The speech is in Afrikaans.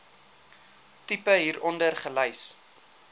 tipe hieronder gelys